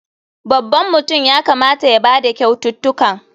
Babban mutum ya kamata ya ba da kyaututtukan.